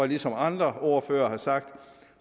ligesom andre ordførere har sagt